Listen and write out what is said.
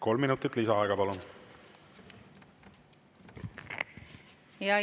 Kolm minutit lisaaega, palun!